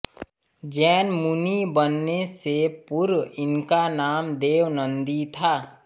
जैन मुनि बनने से पूर्व इनका नाम देवनन्दि था